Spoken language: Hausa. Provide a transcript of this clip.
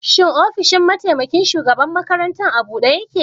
Shin ofishin mataimaƙin shugaɓan maƙaranta a buɗe yake?